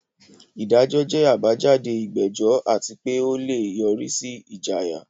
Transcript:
Ìdájọ́ jẹ́ àbájáde ìgbẹ́jọ́ àti pé ó lè yọrí sí ìjìyà.